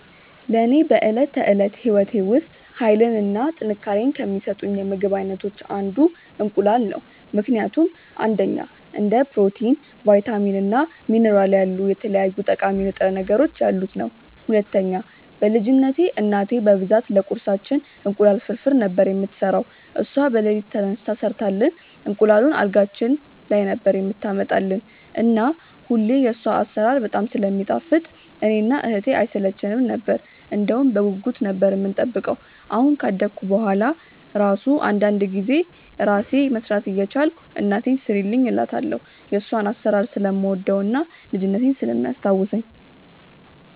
ለኔ በዕለት ተዕለት ሕይወቴ ውስጥ ኃይልን እና ጥንካሬን ከሚሰጡኝ የምግብ አይነቶች አንዱ እንቁላል ነው ምክንያቱም፦ 1. እንደ ፕሮቲን፣ ቫይታሚን እና ሚኒራል ያሉ የተለያዩ ጠቃሚ ንጥረ ነገሮች ያሉት ነዉ። 2. በ ልጅነትቴ እናቴ በብዛት ለቁርሳችን እንቁላል ፍርፍር ነበር የምትሰራው እሷ በለሊት ተነስታ ሰርታልን እንቁላሉን አልጋችን ላይ ነበር የምታመጣልን እና ሁሌ የሷ አሰራር በጣም ስለሚጣፍጥ እኔ እና እህቴ አይሰለቸነም ነበር እንደውም በጉጉት ነበር የምንጠብቀው አሁን ካደኩ በሁዋላ እራሱ አንዳንዴ እራሴ መስራት እየቻልኩ እናቴን ስሪልኝ እላታለው የሷን አሰራር ስለምወደው እና ልጅነቴን ስለሚያስታውሰኝ።